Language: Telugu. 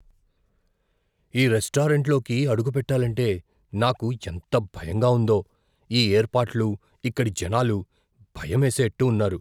ఈ రెస్టారెంట్లోకి అడుగు పెట్టాలంటే నాకు ఎంత భయంగా ఉందో. ఈ ఏర్పాట్లు, ఇక్కడి జనాలు భయమేసేట్టు ఉన్నారు.